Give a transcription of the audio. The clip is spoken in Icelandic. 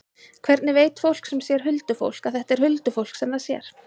Hvernig veit fólk sem sér huldufólk að þetta er huldufólk sem það sér?